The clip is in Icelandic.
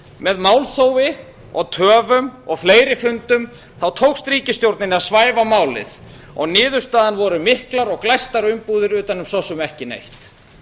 með málþófi töfum og fleiri fundum tókst ríkisstjórninni að svæfa málið og niðurstaðan voru miklar og glæstar umbúðir utan um svo sem eða neitt